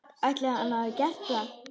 Ætli hann hafi gert það?